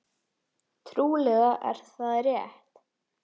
Trúlega er það rétt.